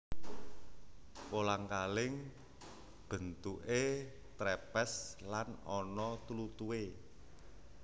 Kolang kaling bentuké trepes lan ana tlutuhe